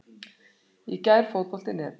Í gærfotbolti.net